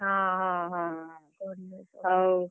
ହଁ ହଁ ହଁ, ହଉ।